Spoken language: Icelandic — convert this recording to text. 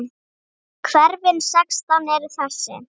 Hverfin sextán eru þessi